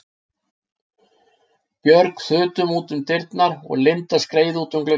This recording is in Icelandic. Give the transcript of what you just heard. Björg þutum út um dyrnar og Linda skreið út um gluggann.